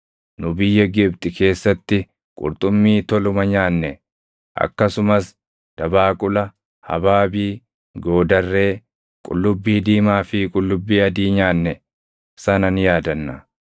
Nu biyya Gibxi keessatti qurxummii toluma nyaanne; akkasumas dabaaqula, habaabii, goodarree, qullubbii diimaa fi qullubbii adii nyaanne sana ni yaadanna.